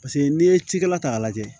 Paseke n'i ye cikɛla ta k'a lajɛ